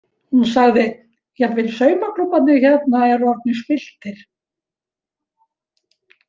Hún sagði: Jafnvel saumaklúbbarnir hérna eru orðnir spilltir.